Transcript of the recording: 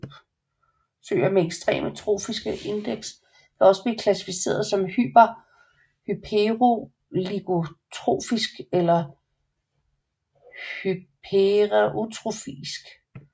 Søer med ekstreme trofiske indeks kan også blive klassificeret som hyperoligotrofisk eller hypereutrofisk